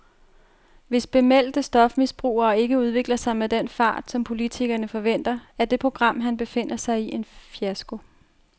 Hvis bemeldte stofmisbrugere ikke udvikler sig med den fart, som politikerne forventer, er det program, han befinder sig i, en fiasko.